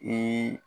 Ni